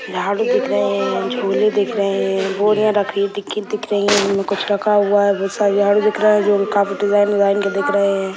झाड़ू दिख रहे हैं झोले दिख रहे हैं बोरियां रखी हुई दिख दिख रही है इनमें कुछ रखा हुआ है बहुत सारे झाड़ू दिख रहे हैं जो काफी डिज़ाइन - डिज़ाइन के दिख रहे हैं।